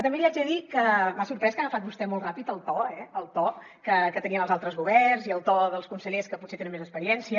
també li haig de dir que m’ha sorprès que ha agafat vostè molt ràpid el to el to que tenien els altres governs i el to dels consellers que potser tenen més experiència